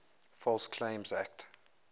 false claims act